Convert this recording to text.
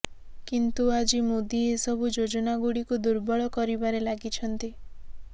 କିନ୍ତୁ ଆଜି ମୋଦି ଏସବୁ ଯୋଜନାଗୁଡ଼ିକୁ ଦୁର୍ବଳ କରିବାରେ ଲାଗିଛନ୍ତି